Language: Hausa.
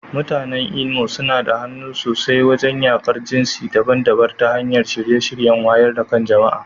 Mutanen Imo suna da hannu sosai wajen yaƙar jinsi daban-daban ta hanyar shirye-shiryen wayar da kan jama'a.